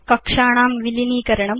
कक्षाणां विलीनीकरणम्